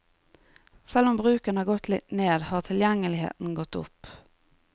Selv om bruken har gått litt ned, har tilgjengeligheten gått opp.